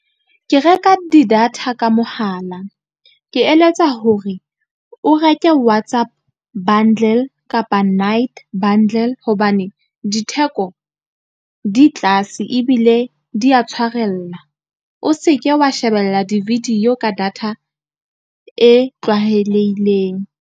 Ke reka di-data ka mohala, ke eletsa hore o reke WhatsApp bundle kapa nite bundle. Hobane ditheko di tlase ebile di a tshwarella. O seke wa shebella di-video ka data e tlwahelehileng.